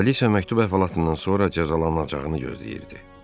Kraliça məktub əhvalatından sonra cəzalanacağını gözləyirdi.